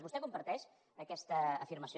vostè comparteix aquesta afirmació